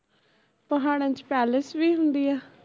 ਪਹਾੜਾਂ ਚ palace ਵੀ ਹੁੰਦੀ ਐ